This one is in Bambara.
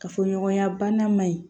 Kafoɲɔgɔnya bana man ɲi